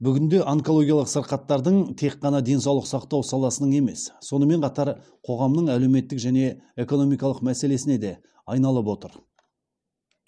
бүгінде онкологиялық сырқаттардың тек қана денсаулық сақтау саласының емес сонымен қатар қоғамның әлеуметтік және экономикалық мәселесіне де айналып отыр